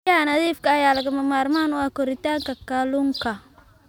Biyaha nadiifka ah ayaa lagama maarmaan u ah koritaanka kalluunka.